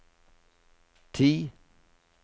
ti